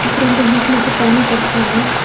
बीच में से पानी पड़ता है।